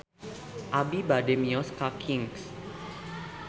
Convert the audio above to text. Abi bade mios ka Kings